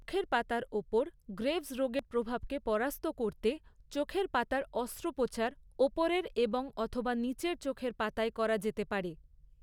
চোখের পাতার ওপর গ্রেভস রোগের প্রভাবকে পরাস্ত করতে, চোখের পাতার অস্ত্রোপচার, ওপরের এবং অথবা নীচের চোখের পাতায় করা যেতে পারে।